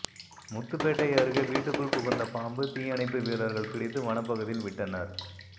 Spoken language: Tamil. முத்துப்பேட்டை அருகே வீட்டுக்குள் புகுந்த பாம்பு தீயணைப்பு வீரர்கள் பிடித்து வனப்பகுதியில் விட்டனர்